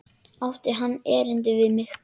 Átti hann erindi við mig?